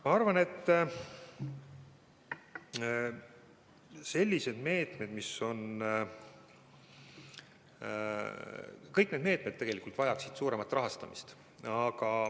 Ma arvan, et kõik need meetmed vajaksid tegelikult suuremat rahastamist.